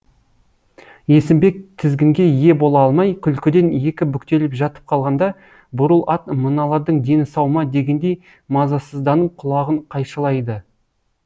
есімбек тізгінге ие бола алмай күлкіден екі бүктеліп жатып қалғанда бурыл ат мыналардың дені сау ма дегендей мазасызданып құлағын қайшылайды